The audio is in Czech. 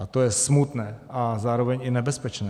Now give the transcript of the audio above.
A to je smutné a zároveň i nebezpečné.